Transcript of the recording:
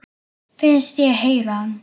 Finnst ég heyra hana.